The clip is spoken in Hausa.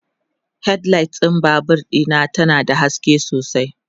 headlight ɗin Babur Dina ta na da haske sosai